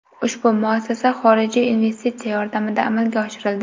Ushbu muassasa xorijiy investitsiya yordamida amalga oshirildi.